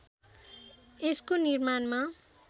यसको निर्माणमा